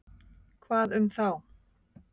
Hvað um þá?